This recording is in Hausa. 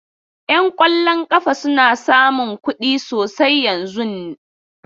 Yan kwallon kafa suna samun kuɗi sosai yanzun.